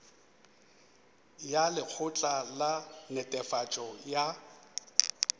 ya lekgotla la netefatšo ya